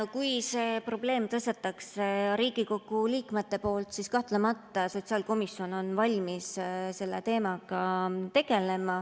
Kui see probleem tõstatatakse Riigikogu liikmete poolt, siis kahtlemata on sotsiaalkomisjon valmis selle teemaga tegelema.